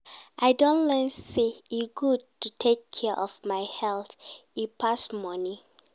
I don learn sey e good to take care of my health, e pass money.